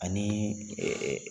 Ani